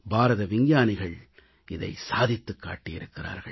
பாரத விஞ்ஞானிகள் இதை சாதித்துக் காட்டியிருக்கிறார்கள்